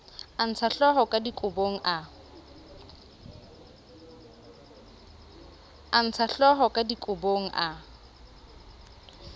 a ntshahlooho ka dikobong a